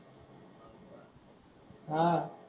हा.